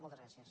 moltes gràcies